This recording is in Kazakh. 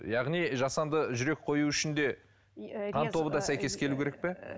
яғни жасанды жүрек қою үшін де қан тобы да сәйкес келуі керек пе